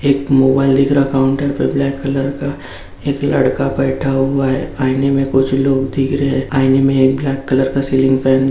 एक मोबाइल दिख रहा है काउंटर पे ब्लैक कलर का लड़का बैठा हुआ है आईने में कुछ लोग दिख रहे हैं आईने में एक ब्लैक कलर का सीलिंग फैन --